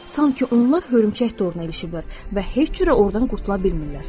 Sankı onlar hörümçək toruna ilişiblər və heç cürə ordan qurtula bilmirlər.